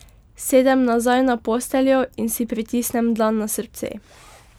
Sedem nazaj na posteljo in si pritisnem dlan na srce.